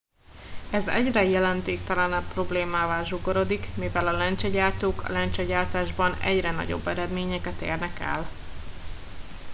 ez egyre jelentéktelenebb problémává zsugorodik mivel a lencsegyártók a lencsegyártásban egyre nagyobb eredményeket érnek el